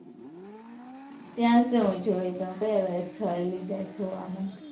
ત્યાં શું જોયું તમે? કયા કયા સ્થળ લીધા જોવામાં?